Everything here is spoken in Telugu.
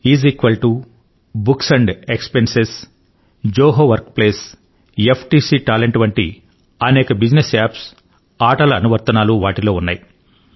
is equal to books and expense Zoho workplace FTC talent వంటి అనేక బిజినెస్ యాప్స్ ఆటల అనువర్తనాలు వాటిలో ఉన్నాయి